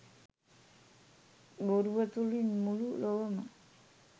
බොරුව තුළින් මුළු ලොවම